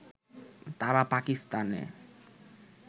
তারা পাকিস্তানে